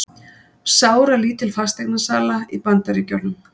Sáralítil fasteignasala í Bandaríkjunum